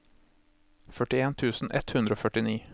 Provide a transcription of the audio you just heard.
førtien tusen ett hundre og førtini